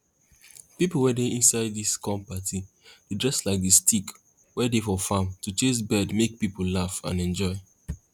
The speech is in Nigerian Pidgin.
pipo wey dey inside dis corn party dey dress like di stick wey dey for farm to chase bird make pipo laugh and enjoy